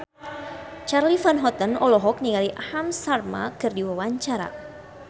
Charly Van Houten olohok ningali Aham Sharma keur diwawancara